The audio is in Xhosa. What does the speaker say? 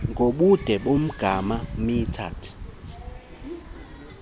ngobude bomgama metered